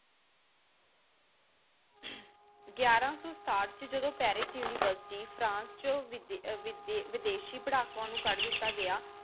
ਗਾਯਾਰਾ ਸੂ ਸ੍ਤਾਥ ਏਚ ਜਦੋਂ ਪੈਰਿਸ university ਫ੍ਰਾਂਸ ਏਚੋ ਵਿਦੇਸ਼ੀ ਪਾਰ੍ਹ੍ਕੂਵਾਂ ਨੂ ਕਦ ਦਿਤਾ ਗਯਾ